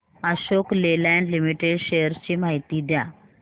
Ashok Leyland limited shares ची माहिती द्या